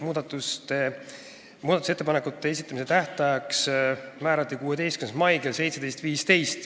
Muudatusettepanekute esitamise tähtajaks määrati 16. mai kell 17.15.